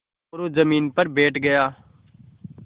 मोरू ज़मीन पर बैठ गया